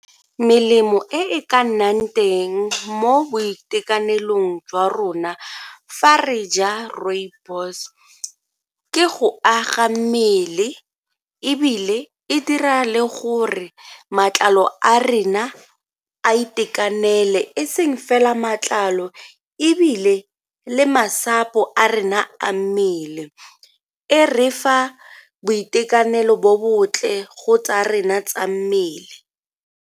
Melemo e e ka nnang teng mo boitekanelong jwa rona fa re ja rooibos ke go aga mmele ebile e dira le gore matlalo a rena a itekanele e seng fela matlalo ebile le masapo a rena a mmele e re fa boitekanelo bo bontle go tsa rena tsa mmele.